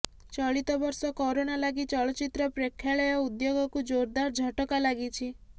ଚଳିତବର୍ଷ କରୋନା ଲାଗି ଚଳଚିତ୍ର ପ୍ରେକ୍ଷାଳୟ ଉଦ୍ୟୋଗକୁ ଜୋରଦାର ଝଟକା ଲାଗିଛି